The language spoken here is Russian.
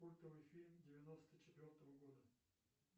культовый фильм девяносто четвертого года